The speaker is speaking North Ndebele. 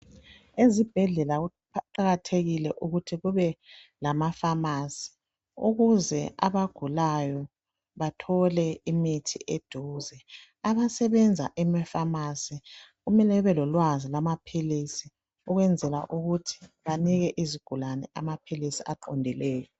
Ezibhendlela kuqakathekile ukuthi kube lama pharmacy ukuze abagulayo bathole imithi eduze abasebenza ema pharmacy kumele bebe lolwazi lwamaphilisi ukwenzela ukuthi banike izigulane amaphilisi aqondileyo